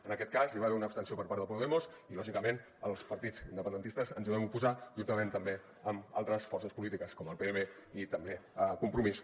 en aquest cas hi va haver una abstenció per part de podemos i lògicament els partits independentistes ens hi vam oposar juntament també amb altres forces polítiques com el pnb i també compromís